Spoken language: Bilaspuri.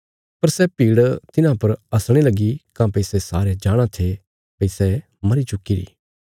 पर सै भीड़ तिन्हां पर हसणे लगी काँह्भई सै सारे जाणाँ थे भई सै मरी चुक्कीरी